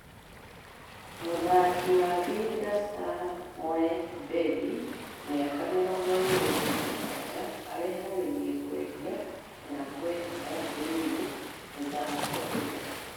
Mũtharikĩri wa Vihiga Stars Moe Billy, mĩaka mĩrongo ĩĩrĩ na mũgwanja, arĩharĩirie kwendia kana gũehera thirĩini mĩthako ĩno.